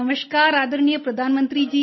नमस्कार आदरणीय प्रधानमंत्री जी